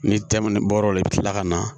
Ni tɛmɛni bɔra o la i bɛ tila ka na